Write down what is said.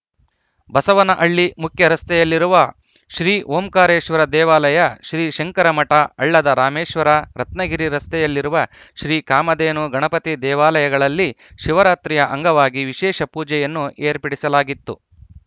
ಬಸವನಹಳ್ಳಿ ಮುಖ್ಯ ರಸ್ತೆಯಲ್ಲಿರುವ ಶ್ರೀ ಓಂಕಾರೇಶ್ವರ ದೇವಾಲಯ ಶ್ರೀಶಂಕರಮಠ ಹಳ್ಳದ ರಾಮೇಶ್ವರ ರತ್ನಗಿರಿ ರಸ್ತೆಯಲ್ಲಿರುವ ಶ್ರೀ ಕಾಮಧೇನು ಗಣಪತಿ ದೇವಾಲಯಗಳಲ್ಲಿ ಶಿವರಾತ್ರಿಯ ಅಂಗವಾಗಿ ವಿಶೇಷ ಪೂಜೆಯನ್ನು ಏರ್ಪಡಿಸಲಾಗಿತ್ತು